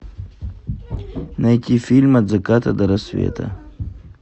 найти фильм от заката до рассвета